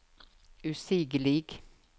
usigelig